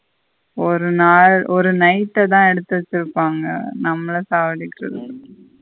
ஒரு நாள் ஒரு night தா எடுத்து வச்சிருப்பாங்க. நம்மள சவடிக்கருதுகு.